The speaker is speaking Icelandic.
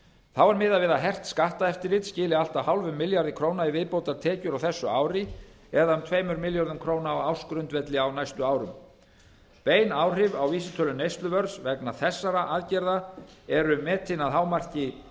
þá er miðað við að hert skatteftirlit skili allt að hálfum milljarði í viðbótartekjur á þessu ári eða um tveimur milljörðum króna á ársgrundvelli á næstu árum bein áhrif á vísitölu neysluverðs vegna þessara aðgerða eru metin að hámarki